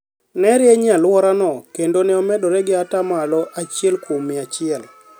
ne rieny e alworano, kendo ne omedore gi ata malo achiel kuom mia achiel.